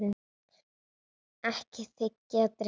Ekki þiggja drykki.